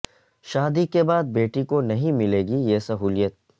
شادی کے بعد بیٹی کو نہیں ملے گی یہ سہولیت